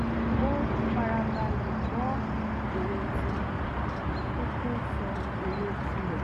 ó fara balẹ̀ gbọ́ èrò tí wọ́n kó tó sọ èrò ti rẹ̀